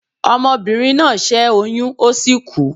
Omobìnrin náà ṣẹ́ oyín ó sì kú